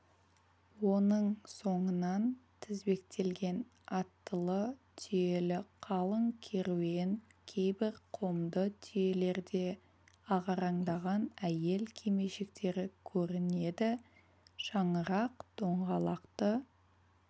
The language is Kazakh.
оның соңынан тізбектелген аттылы түйелі қалың керуен кейбір қомды түйелерде ағараңдаған әйел кимешектері көрінеді шаңырақ доңғалақты